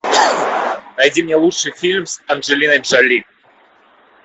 найди мне лучший фильм с анджелиной джоли